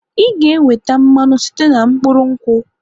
Ị ga-enweta mmanụ site na mkpụrụ nkwụ